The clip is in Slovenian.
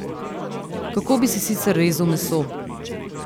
Kako bi si sicer rezal meso?